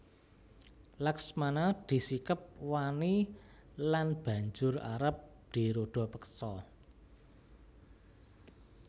Laksmana disikep wani lan banjur arep dirudapeksa